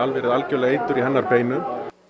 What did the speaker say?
verið algerlega eitur í hennar beinum